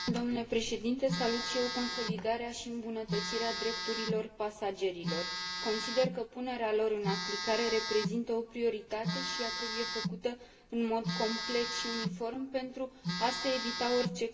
Salut și eu consolidarea și îmbunătățirea drepturilor pasagerilor. Consider că punerea lor în aplicare reprezintă o prioritate și ea trebuie făcută în mod complet și uniform pentru a se evita orice confuzii.